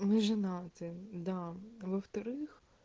мы женаты да во-вторых